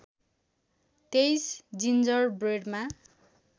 २३ ginger ब्रेडमा